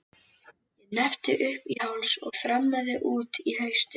Ég hneppti upp í háls og þrammaði út í haustið.